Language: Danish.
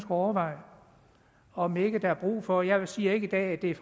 overveje om ikke der er brug for jeg siger ikke i dag at det er